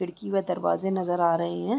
खिड़की व दरवाज़े नज़र आ रहें हैं।